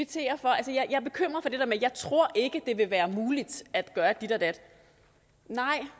jeg bekymret for det der med at jeg tror ikke det vil være muligt at gøre dit og dat nej